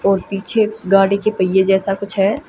और पीछे गाड़ी के पहिए जैसा कुछ है।